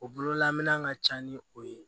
O bololaminɛ ka ca ni o ye